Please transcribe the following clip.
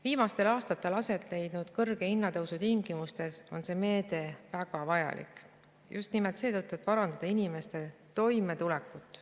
Viimastel aastatel aset leidnud hinnatõusu tingimustes on see meede väga vajalik ja just nimelt seetõttu, et parandada inimeste toimetulekut.